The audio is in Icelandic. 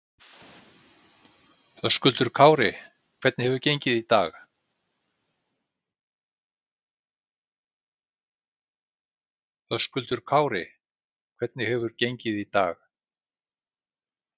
Höskuldur Kári: Hvernig hefur þetta gengið í dag?